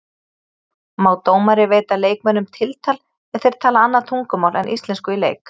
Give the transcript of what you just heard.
Má dómari veita leikmönnum tiltal ef þeir tala annað tungumál en íslensku í leik?